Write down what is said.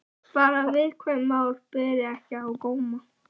Bara að viðkvæm mál beri ekki á góma.